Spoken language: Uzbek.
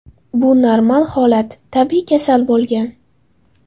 Bu normal holat , tabiiy kasal bo‘lgan”.